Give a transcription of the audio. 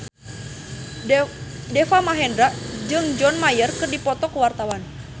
Deva Mahendra jeung John Mayer keur dipoto ku wartawan